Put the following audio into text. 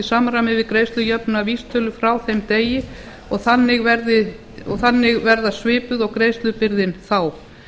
í samræmi við greiðslujöfnunarvísitölu frá þeim degi og þannig verða svipuð og greiðslubyrðin þá